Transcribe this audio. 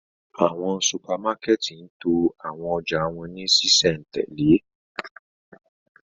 Awọn supamakẹti ń to awọn ọja wọn ni ṣiṣẹntẹle